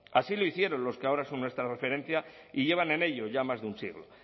así lo hicieron los que ahora son nuestra referencia y llevan en ello ya más de un siglo